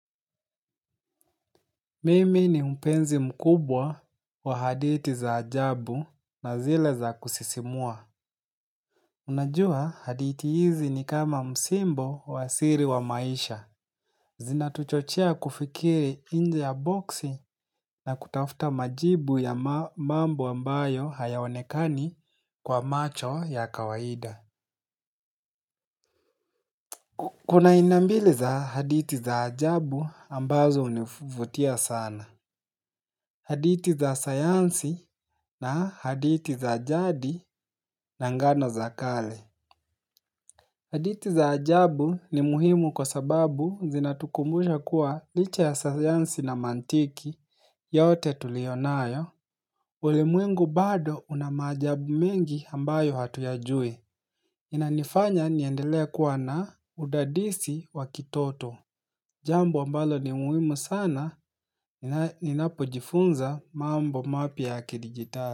Mimi ni mpenzi mkubwa wa hadithi za ajabu na zile za kusisimua. Unajua hadithi hizi ni kama msimbo wa siri wa maisha. Zinatuchochea kufikiri nje ya boksi na kutafuta majibu ya mambo ambayo hayaonekani kwa macho ya kawaida. Kuna aina mbili za hadithi za ajabu ambazo hunivutia sana. Hadithi za sayansi na hadithi za jadi na ngano za kale. Hadithi za ajabu ni muhimu kwa sababu zinatukumbusha kuwa licha ya sayansi na mantiki yote tulionayo. Ulimwengu bado una maajabu mengi ambayo hatuyajui. Inanifanya niendelee kuwa na udadisi wa kitoto. Jambo ambalo ni muhimu sana ninapojifunza mambo mapya ya kidigitali.